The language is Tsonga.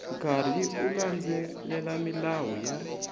karhi u landzelela milawu ya